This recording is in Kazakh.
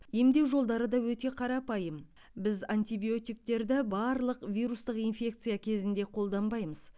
емдеу жолдары да өте қарапайым біз антибиотиктерді барлық вирустық инфекция кезінде қолданбаймыз